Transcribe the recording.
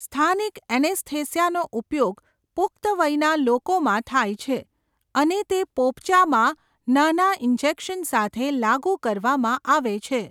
સ્થાનિક એનેસ્થેસિયાનો ઉપયોગ પુખ્ત વયના લોકોમાં થાય છે અને તે પોપચામાં નાના ઇન્જેક્શન સાથે લાગુ કરવામાં આવે છે.